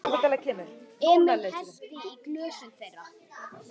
Emil hellti í glösin þeirra.